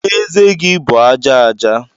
Ezé gị bụ aja aja